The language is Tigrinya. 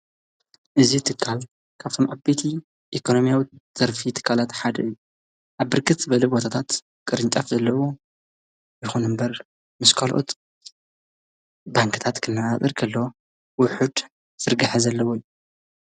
እዙ እትካል ካብቶም ዓበቲ ኢኮኖምያዊ ዘርፊ ትካላት ሓድ ኣብርክት በልብ ዋታታት ቕርንጫፍ ዘለዎ ይኹኑ እምበር ምስ ካልኦት ባንክታት ክና ኣጥርክሎ ውሑድ ዝርጋሕ ዘለዎ እዩ ።